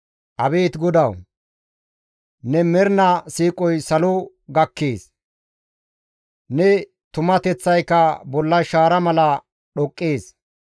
Abeet GODAWU! Ne mernaa siiqoy salo gakkees; ne tumateththayka bolla shaara mala dhoqqees.